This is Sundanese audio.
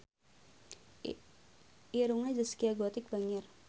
Irungna Zaskia Gotik bangir